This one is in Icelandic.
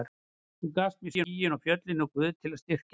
Þú gafst mér skýin og fjöllin og Guð til að styrkja mig.